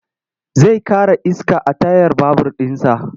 Zai ƙara iska a tayar babur ɗinsa.